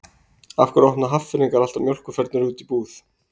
Af hverju opna Hafnfirðingar alltaf mjólkurfernur úti í búð?